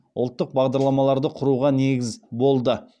ұлттық бағдарламаларды құруға негіз болды